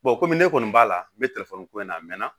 kɔmi ne kɔni b'a la n be telefɔni ko in na a mɛnna